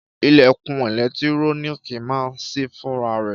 Ìlẹ̀kùn ẹ̀lẹ́tíróníkì máa ń sí fúnra rẹ̀